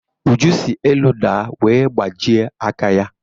Uju si elu daa wee gbajie aka ya.